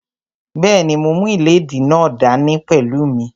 Bẹ́ẹ̀ni, mo mú ìléèdí náà dá ní pẹ̀lú mí